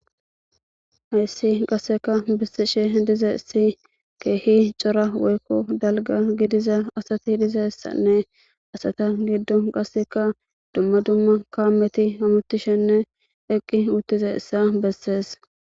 hayssii qassika bessishe dizeessi keehi cora woykko dalgga gidiza asatidizeessanne asata giddon qassikka dumma dumma kaameti hamoththishinne eqqi uththizeessa bessees.